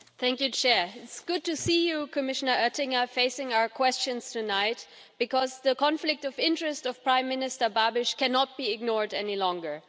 Mr President, it is good to see you Commissioner Oettinger facing our questions tonight, because the conflict of interest of Prime Minister Babiš cannot be ignored any longer.